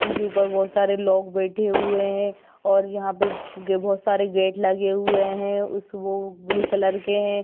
उनके उपर बहुत सारे लोग बेठे हुए हैं और यहाँ पे बहुत सारे गे गेट लगे हुए हैं उस वो ब्लू कलर के हैं।